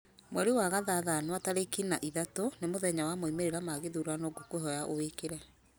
mweri wa gathathanwa tarĩki na ithatũ nĩ mũthenya wa moimĩrĩra ma gĩthurano ngũkwĩhoya ũwĩkĩre